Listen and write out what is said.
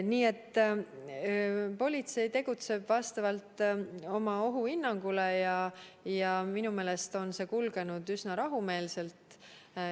Nii et politsei tegutseb vastavalt oma ohuhinnangule ja minu meelest on kõik kulgenud üsna rahumeelselt.